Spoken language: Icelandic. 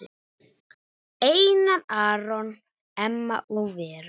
Einar Aron, Emma og Vera.